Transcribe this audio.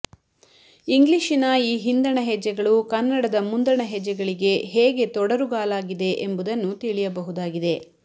ಇಂಗ್ಲಿಶಿನ ಈ ಹಿಂದಣ ಹೆಜ್ಜೆಗಳು ಕನ್ನಡದ ಮುಂದಣ ಹೆಜ್ಜೆಗಳಿಗೆ ಹೇಗೆ ತೊಡರುಗಾಲಾಗಿದೆ ಎಂಬುದನ್ನು ತಿಳಿಯಬಹುದಾಗಿದೆ